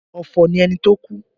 Ọ̀fọ̀ ni ẹni ti ó kú